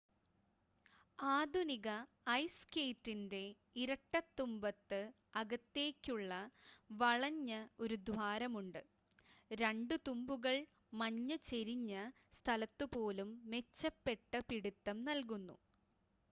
ആധുനിക ഐസ് സ്കേറ്റിൻ്റെ ഇരട്ട തുമ്പത്ത് അകത്തേയ്ക്ക് വളഞ്ഞ ഒരു ദ്വാരമുണ്ട് 2 തുമ്പുകൾ മഞ്ഞ് ചെരിഞ്ഞ സ്ഥലത്തുപോലും മെച്ചപ്പെട്ട പിടിത്തം നൽകുന്നു